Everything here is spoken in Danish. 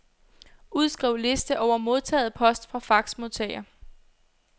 Udskriv liste over modtaget post fra faxmodtager.